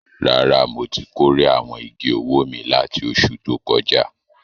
Rárá, mo ti kórè àwọn igi owó mi láti oṣù tó kọjá.